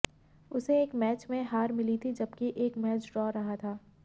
उसे एक मैच में हार मिली थी जबकि एक मैच ड्रॉ रहा था